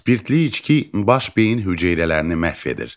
Spirtli içki baş beyin hüceyrələrini məhv edir.